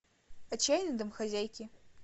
отчаянные домохозяйки